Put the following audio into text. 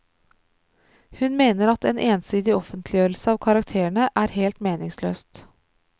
Hun mener at en ensidig offentliggjørelse av karakterene er helt meningsløst.